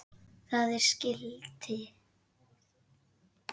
Það er skilti.